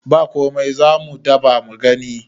ba komai za mu dabamu gani